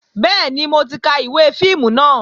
Bẹ́ẹ̀ni, mo ti ka ìwé fíìmù náà